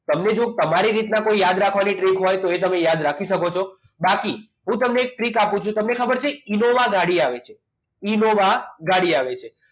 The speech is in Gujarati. તમને જોઈ તમારી રીતના કોઈ રીતના યાદ રાખવાની ટ્રીક હોય તો તમે યાદ રાખી શકો છો બાકી હું તમને એક ટ્રીક આપું છું તમને ખબર છે ઈનોવા ગાડી આવે છે ઇનોવા ગાડી આવે છે